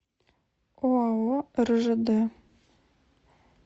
оао ржд